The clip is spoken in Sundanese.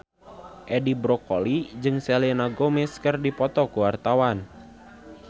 Edi Brokoli jeung Selena Gomez keur dipoto ku wartawan